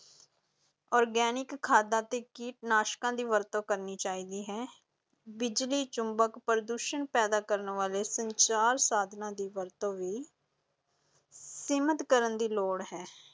Organic ਖਾਦਾਂ ਤੇ ਕੀਟਨਾਸ਼ਕਾਂ ਵਰਤੋਂ ਕਰਨੀ ਚਾਹੀਦੀ ਹੈ, ਬਿਜਲੀ ਚੁੰਬਕੀ ਪ੍ਰਦੂਸ਼ਣ ਪੈਦਾ ਕਰਨ ਵਾਲੇ ਸੰਚਾਰ ਸਾਧਨਾਂ ਦੀ ਵਰਤੋਂ ਵੀ ਸੀਮਿਤ ਕਰਨ ਦੀ ਲੋੜ ਹੈ।